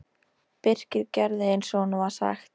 Birkir gerði eins og honum var sagt.